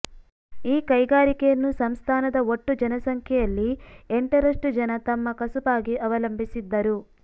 ಈ ಕೈಗಾರಿಕೆಯನ್ನು ಸಂಸ್ಥಾನದ ಒಟ್ಟು ಜನಸಂಖ್ಯೆಯಲ್ಲಿ ಎಂಟರಷ್ಟು ಜನ ತಮ್ಮ ಕಸುಬಾಗಿ ಅವಲಂಬಿಸಿದ್ದರು